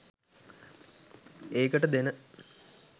ඒකට දෙන